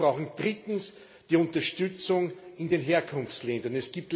Wir brauchen drittens die Unterstützung in den Herkunftsländern.